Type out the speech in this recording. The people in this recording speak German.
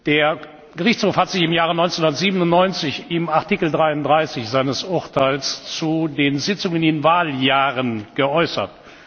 Der Gerichtshof hat sich im Jahr 1997 in Artikel 33 seines Urteils zu den Sitzungen in Wahljahren geäußert.